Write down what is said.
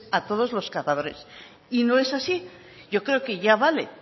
a todos los cazadores y no es así yo creo que ya vale